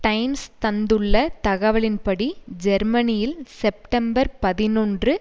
times தந்துள்ள தகவலின்படி ஜெர்மனியில் செப்டம்பர் பதினொன்று